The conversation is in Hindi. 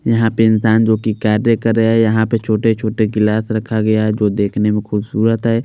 यहाँ पे इंसान जो की कार्य कर रहे है यहाँ पर छोटे छोटे गिलास रखा गया है जो देख ने में खूबसूरत है।